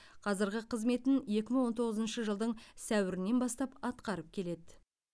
қазірғы қызметін екі мың он тоғызыншы жылдың сәуірінен бастап атқарып келеді